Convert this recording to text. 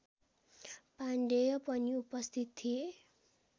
पाण्डेय पनि उपस्थित थिए